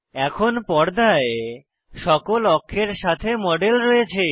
এখন পর্দায় সকল অক্ষের সাথে মডেল রয়েছে